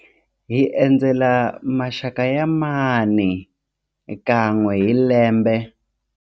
Hi endzela maxaka ya mhani kan'we hi lembe.